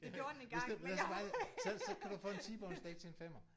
Ja hvis den hvis den var det så så kan du få en T-bone steak til en femmer